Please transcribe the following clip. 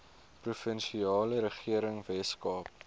provinsiale regering weskaap